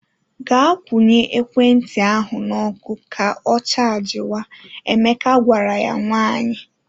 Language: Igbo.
Gaa kwụnya ekwentị ahụ n’ọkụ ka ọ chajịwa! Emeka gwara ya nwaanyị.